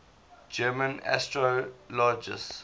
german astrologers